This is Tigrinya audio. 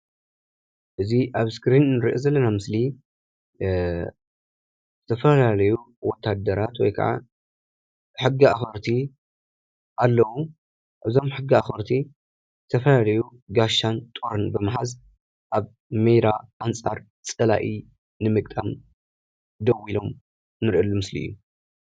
እዚ ኣብ እስክሪን ንርኦ ዘለና ምስሊ ዝተፈላለዩ ወታደራት ወይካኣ ሕጊ ኣክበርቲ ዝተፈላለዩ ጋሻ ጦር ሒዞም ንርኤሉ ምስሊ እዩ።